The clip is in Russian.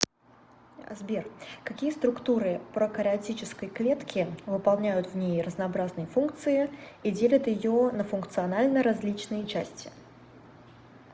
сбер какие структуры прокариотической клетки выполняют в ней разнообразные функции и делят ее на функционально различные части